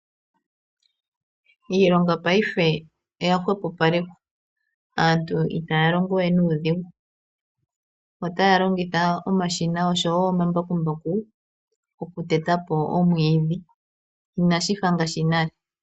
Iilonga paife oya hwepopalekwa aantu itaya longowe nuudhigu. Otaya longitha omashina oshowo omambakumbaku okutetapo omwiidhi inashi fa ngaashi nale.